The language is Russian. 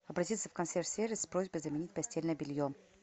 обратиться в консьерж сервис с просьбой заменить постельное белье